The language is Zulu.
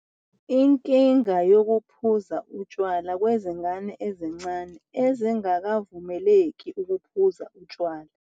Inkinga yokuphuza utshwala kwezingane ezisencane ezingakavumeleki ukuphuza utshwala.